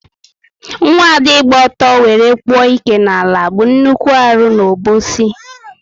Nwaada ịgba ọtọ wéré kpụ ike n'ala bu nnukwu arụ n' Obosi